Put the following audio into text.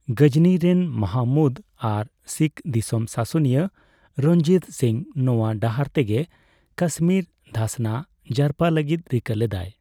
ᱜᱚᱡᱚᱱᱤ ᱨᱮᱱ ᱢᱟᱦᱚᱢᱩᱫᱽ ᱟᱨ ᱥᱤᱠᱷ ᱫᱤᱥᱚᱢ ᱥᱟᱥᱚᱱᱤᱭᱟᱹ ᱨᱚᱧᱡᱤᱛ ᱥᱤᱝ ᱱᱚᱣᱟ ᱰᱟᱦᱟᱨ ᱛᱮᱜᱮ ᱠᱟᱥᱢᱤᱨ ᱫᱷᱟᱥᱱᱟ ᱡᱟᱨᱯᱟ ᱞᱟᱹᱜᱤᱫ ᱨᱤᱠᱟᱹ ᱞᱮᱫᱟᱭ ᱾